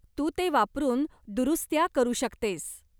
तू ते वापरून दुरुस्त्या करू शकतेस.